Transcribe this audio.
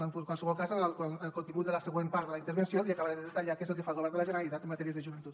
en qualsevol cas en el contingut de la següent part de la intervenció li acabaré de detallar què és el que fa el govern de la generalitat en matèria de joventut